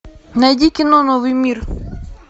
найди кино новый мир